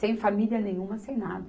Sem família nenhuma, sem nada.